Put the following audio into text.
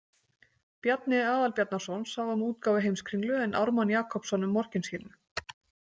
Bjarni Aðalbjarnarson sá um útgáfu Heimskringlu en Ármann Jakobsson um Morkinskinnu.